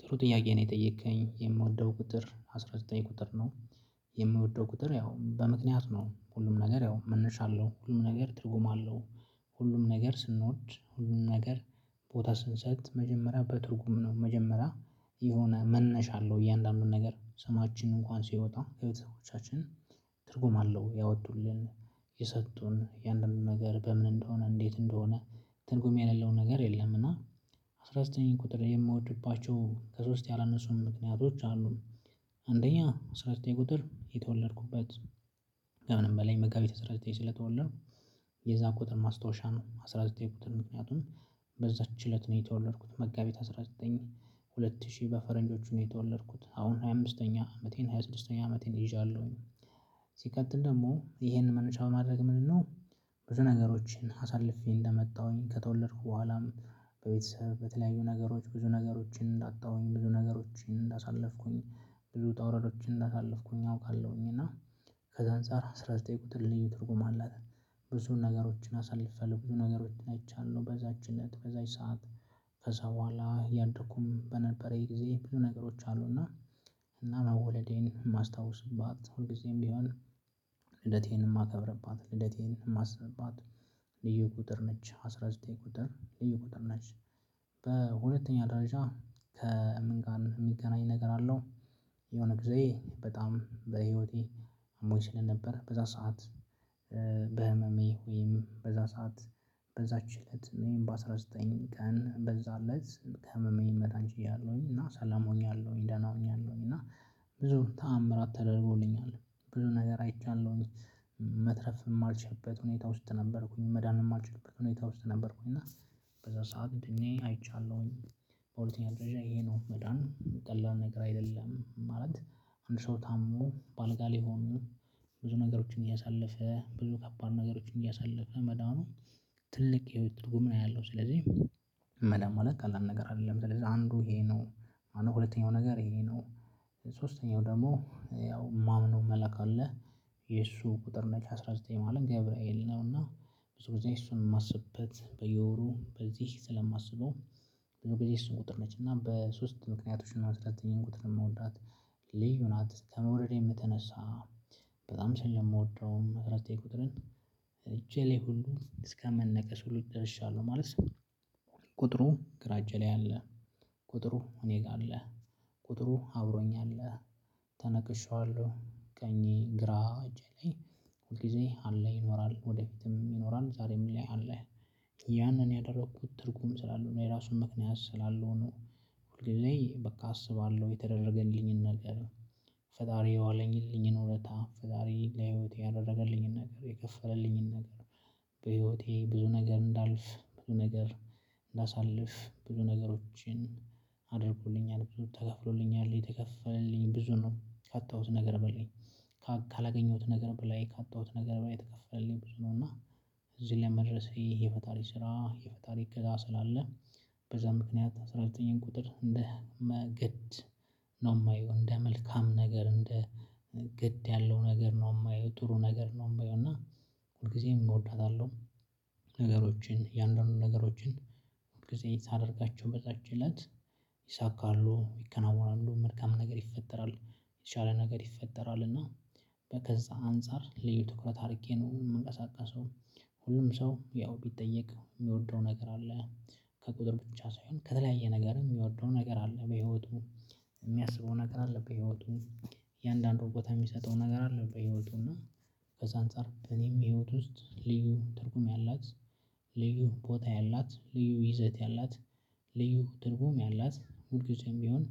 ጥሩ ጥያቄ ነው የጠየከኝ የምወደው ቁጥር አስራ ዘጠኝ ቁጥር ነው። የምወደው ቁጥር ያው በምክንያት ነው ሁሉም ነገር ያው መነሻ አለሁ ሁሉም ነገር ትርጉም አለው። ሁሉም ነገር ስንወድ ሁሉም ነገር ቦታ ስንሰጥ መጀመሪያ በትርጉም ነው መጀመሪያ የሆነ መነሻ አለው እያንዳንዱን ነገር ስማችንን እንኳን ሲወጣ ከቤተሰቦቻችን ትርጉም አለው ያወጡልን የሰጡን እያንዳንዱን ነገር በምን እንደሆነ እንዴት እንደሆነ ትርጉም ያለውን ነገር የለም እና አስራ ዘጠኝ ቁጥር የምወድባቸው ከሶስት ያላነሱም ምክንያቶች አሉን አንደኛ አስራ ዘጠኝ ቁጥር የተወለድኩበት ከምንም በላይ መጋቢት አስራ ዘጠኝ ስለተወለድኩ የዛ ቁጥር ማስታወሻ ነው አስራ ዘጠኝ ቁጥር ምክንያቱም በዛች እለት ነው የተወለድኩት መጋቢት አስራ ዘጠኝ ሁለት ሺህ በፈረንጆቹ ነው የተወለድኩት አሁን ሃያ አምስተኛ አመቴን ሃያ ስድስተኛ አመቴን ይዣለሁኝ ሲቀጥል ደግሞ ይሄንን መነሻ በማድረግ ምንድነው ብዙ ነገሮችን አሳልፌ እንደመጣሁኝ ከተወለድኩ በኋላም በቤተሰብ በተለያዩ ነገሮች ብዙ ነገሮችን እንዳጣሁኝ ብዙ ነገሮችን እንዳሳለፍኩኝ ብዙ ዉጣ ውረዶችን እንዳሳለፍኩኝ አውቃለሁኝ እና ከዛ አንፃር አስራ ዘጠኝ ቀጥር ልዩ ትርጉም ለኔ አላት ብዙ ነገሮችን አሳልፈያለው ብዙ ነገሮችን አይቻለሁ በዛች አለት በዛች ሰዓት ከዛ ቦኋላ አያደኩም በነበረኝ ጊዜ ብዙ ነገሮች አሉ እና እና መወለዴን የማስታውስባት ሁልጊዜም ቢሆን ልደቴን የማከብርባት ልደቴን የማስብባት ልዩ ቁጥር ነች አስራ ዘጠኝ ቁጥር ልዩ ቁጥር ነች። በሁለተኛ ደረጃ ከምን ጋር የሚገናኝ ነገር አለው የሆነ ጊዜ በጣም በህይወቴ አሞኝ ስለ ነበር በዛ ሰዓት በህመሜ ወይም በዛ ሰዓት በዛች እለት ወይም በአስራ ዘጠኝ ቀን በዛ አለች ከህመሜ መዳን ችዬያለሁኝ እና ሰላም ሆኛለሁኝ ደህና ሆኛለሁኝ እና ብዙ ተአምራት ተደርጎልኛል ብዙ ነገር አይቻለሁኝ መትረፍ የማልችልበት ሁኔታ ውስጥ ነበርኩኝ መዳን የማልችልበት ሁኔታ ውስጥ ነበርኩኝ እና በዛ ሰዓት ድኜ አይቻለሁኝ በሁለተኛ ደረጃ ይሄ ነው መዳን ቀላል ነገር አይደለም ማለት አንድ ሰው ታሞ በአልጋ ላይ ሆኖ ብዙ ነገሮችን እያሳለፈ ብዙ ከባድ ነገሮችን እያሳለፈ መዳኑ ትልቅ የህይወት ትርጉም ነው ያለው ስለዚህ መላ ማለት ቀላል ነገር አይደለም ስለዚህ አንዱ ይሄ ነው። ሁለተኛው ነገር ይሄ ነው ሶስተኛው ደግሞ ያው የማምነው መለክ አለ የእሱ ቁጥር ነች አስራ ዘጠኝ ማለት ገብርኤል ነው እና ብዙ ጊዜ እሱን የማስበት በየወሩ በዚህ ስለማስበው ብዙ ጊዜ እሱን ቁጥር ነች እና በሶስት ምክንያቶች እና አስራ ዘጠኝ ቁጥር የምወዳት። ልዩ ናት ከመውረድ የምትነሳ በጣም ስለ የምወደውም አስራ ዘጠኝ ቁጥርን እጄ ላይ ሁሉ እስከመነቀሱ ልጅ ደርሻለሁ ማለት ነው ቁጥሩ ግራ አጄ ላይ አለ ቁጥሩ እኔ ጋ አለ ቁጥሩ አብሮኝ አለ ተነቅሼዋለሁ ቀኜ ግራ እጄ ላይ ሁል ጊዜ አለ ይኖራል ወደፊትም ይኖራል ዛሬም ላይ አለ። ያንን ያደረኩት ትርጉም ስላለው እኔ ራሱን ምክንያት ስላልሆኑ ሁሌ በቃ አስባለው የተደረገልኝን ነገር ፈጣሪ የዋለኝልኝን ውለታ ፈጣሪ ለህይወቴ ያደረገልኝን ነገር የከፈለልኝን ነገር በህይወቴ ብዙ ነገር እንዳልፍ ብዙ ነገር እንዳሳልፍ ብዙ ነገሮችን አድርጎልኛል ብዙ ተከፍሎልኛል የተከፈልኝ ብዙን ነው ካጣሁት ነገር በለኝ ካላገኘሁት ነገር በላይ ካጣሁት ነገር በላይ ተከፈለልኝ ብዙ ነው እና እዚህ ለመድረሴ የፈጣሪ ስራ የፈጣሪ አገዛ ስላለ በዛ ምክንያት አስራ ዘጠኝን ቁጥር እንደ ግድ ነው የማየው እንደ መልካም ነገር እንደ ግድ ያለው ነገር ነው የማየው ጥሩ ነገር ነው የማየው እና ሁልጊዜም እወዳታለሁ ነገሮችን የአንደኛው ነገሮችን ጊዜ ሳደርጋቸው በዛች እለት ይሳካሉ ይከናወናሉ መልካም ነገር ይፈጠራል የተቻለ ነገር ይፈጠራል እና ከዛ አንፃር ልዩ ትኩረት አርጌ ነው የምንቀሳቀሰው። ሁሉም ሰው ያው ቢጠየቅ የሚወደው ነገር አለ። ከቁጥር ብቻ ሳይሆን ከተለያየ ነገርም የሚወርደው ነገር አለ በህይወቱ የሚያስበው ነገር አለ በህይወቱ እያንዳንዱን ቦታ የሚሰጠው ነገር አለ በህይወቱ እና ከዛ አንፃር በኔም የህይወት ውስጥ ልዩ ትርጉም ያላት ልዩ ቦታ ያላት ልዩ ይዘት ያላት ልዩ ትርጉም ያላት ሁል ግዜም ቢሆን